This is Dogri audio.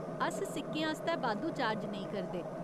अस सिक्कें आस्तै बाद्धू चार्ज नेईं करदे।